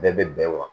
Bɛɛ bɛ bɛn wa